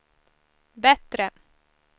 bättre